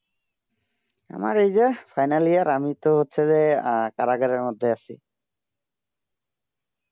আমার এই যে final year আমি তো হচ্ছে যে কারাগারের মধ্যে আছি